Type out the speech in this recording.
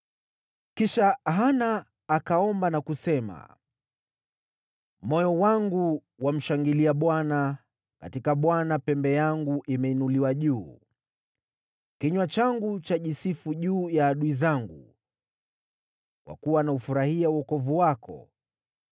Kisha Hana akaomba na kusema: “Moyo wangu wamshangilia Bwana , katika Bwana pembe yangu imeinuliwa juu. Kinywa changu chajisifu juu ya adui zangu, kwa kuwa naufurahia wokovu wako.